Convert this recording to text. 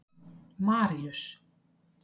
Maríus